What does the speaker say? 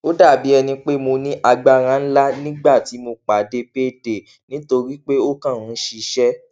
ó dà bí ẹni pé mo ní agbára ńlá nígbà tí mo pàdé payday nítorí pé ó kàn ń ṣiṣẹ